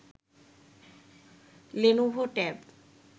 Lenovo tab